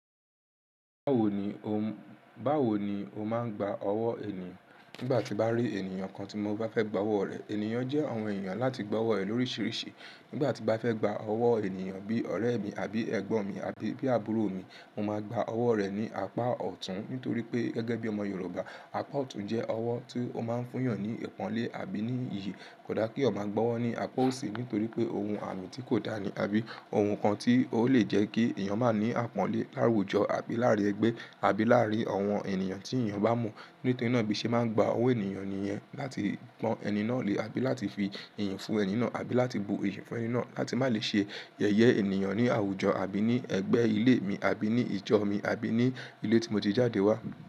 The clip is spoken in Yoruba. Báwo ni o máa ń gba ọwọ́ ènìyàn? Nígbà tí n bá rí ènìyàn kan tí mo bá fẹ́ gba ọwọ́ọ rẹ̀, ènìyàn jẹ́ àwọn èèyàn láti gb'ọwọ́ rẹ̀ lóríṣiríṣi. Nígbà tí n bá fẹ́ gba ọwọ́ ènìyàn bí ọ̀rẹ́ mi àbí ẹgbọ́n mi àbí bí àbúrò mi, mo máa gba ọ̀wọ́ rẹ̀ ní apá ọ̀tún nítorí pé gẹ́gẹ́ bí ọmọ Yorùbá, apá ọ̀tún jẹ́ ọwọ́ tí ó máa ń fún àwọn ní ìpọ́nlé àbí ní iyì. Kò dá kí èèyàn máa gbọwọ́ ní apá òsì nítorí pé òun àmì tí kò dá ni àbí ohun kan tí ó lè jẹ́ kí èèyàn má ní àpọ́nlé láwùjọ àbí láàárín ẹgbẹ́ àbí láàárín àwọn ènìyàn tí èèyàn bá mọ̀. Nítorí náà bí ṣe máa ń gba ọ̀wọ́ ènìyàn nìyẹn láti pọ́n ẹni náà lé àbí láti fi ìyìn fún ẹni náà àbí láti bu iyì fún ẹni náà láti má lè ṣe yẹ̀yẹ ènìyàn ní àwùjọ àbí ní ẹgbẹ́ ilé mi àbí ní ìjọ mi àbí ní ilé tí mo ti jáde wá.